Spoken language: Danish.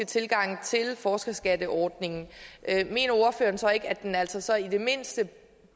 tilgang til forskerskatteordningen mener ordføreren så ikke at den altså i det mindste